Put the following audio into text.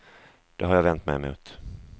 Det har jag vänt mig emot.